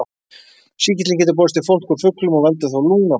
Sýkillinn getur borist í fólk úr fuglum og veldur þá lungnabólgu.